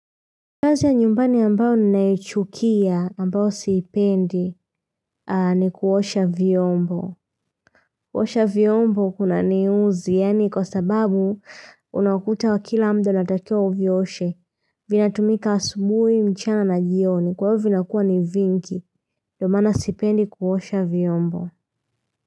Kazi ya nyumbani ambayo ninaichukia ambayo siipendi ni kuosha vyombo. Kuosha vyombo kunaniudhi, yaani kwa sababu unakuta kila muda unatakiwa uvioshe. Vinatumika asubuhi mchana na jioni, kwa hivo vinakua ni vingi, ndo maana sipendi kuosha vyombo.